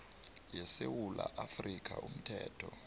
yesewula afrika umthetho